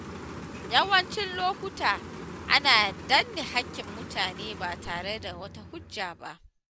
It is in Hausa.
Yawancin lokuta, ana danne haƙƙin mutane ba tare da wata hujja ba.